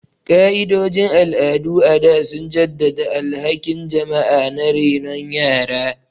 Ka'idojin al'adu a da sun jaddada alhakin jama'a na renon yara.